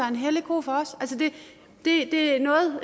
en hellig ko for os det er noget